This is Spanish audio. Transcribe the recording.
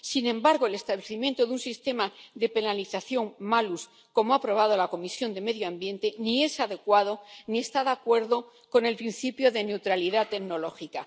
Sin embargo, el establecimiento de un sistema de penalización malus como ha aprobado la Comisión de Medio Ambiente, ni es adecuado ni está de acuerdo con el principio de neutralidad tecnológica.